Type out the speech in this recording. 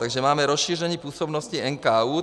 Takže máme rozšíření působnosti NKÚ.